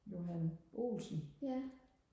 Johan Olsen